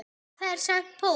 Hafa þær sent póst?